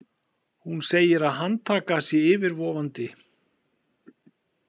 Hún segir að handtaka sé yfirvofandi.